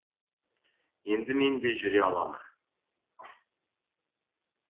енді мен де жүре аламын